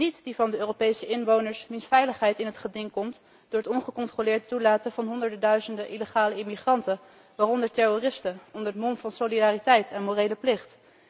Niet die van de Europese inwoners wier veiligheid in het geding komt door het ongecontroleerd toelaten van honderden, duizenden illegale immigranten, waaronder terroristen, onder het mom van solidariteit en morele plicht.